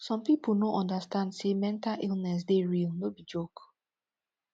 some pipo no understand say mental illness dey real no be joke